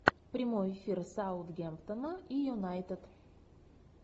прямой эфир саутгемптона и юнайтед